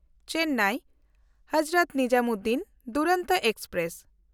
Chennai Hazrat Nizamuddin Duronto express